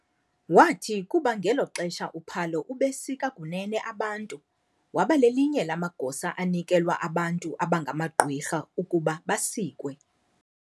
Wathi kuba ngelo xesha uPhalo ubesika kunene abantu, waba lelinye lamagosa anikelwa abantu abangamagqwirha ukuba basikwe.